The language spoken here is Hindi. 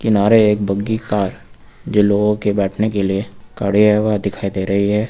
नारे एक बग्गी कार जो लोगों के बैठने के लिए खड़े हैं वह दिखाई दे रही है।